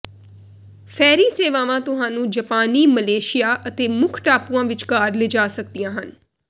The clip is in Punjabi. ਫੈਰੀ ਸੇਵਾਵਾਂ ਤੁਹਾਨੂੰ ਜਾਪਾਨੀ ਮਲੇਸ਼ੀਆ ਅਤੇ ਮੁੱਖ ਟਾਪੂਆਂ ਵਿਚਕਾਰ ਲਿਜਾ ਸਕਦੀਆਂ ਹਨ